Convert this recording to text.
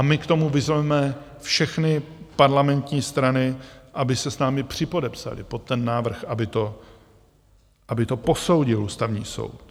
A my k tomu vyzveme všechny parlamentní strany, aby se s námi připodepsaly pod ten návrh, aby to posoudil Ústavní soud.